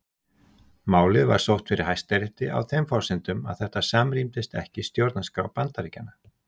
Málið var sótt fyrir Hæstarétti á þeim forsendum að þetta samrýmdist ekki stjórnarskrá Bandaríkjanna.